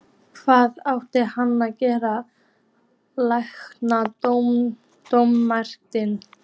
Hvað átti hann að gera, tækla dómarann?